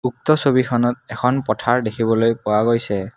বউক্ত ছবিখনত এখন পথাৰ দেখিবলৈ পোৱা গৈছে।